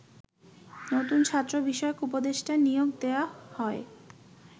নতুন ছাত্র বিষয়ক উপদেষ্টা নিয়োগ দেয়া হয়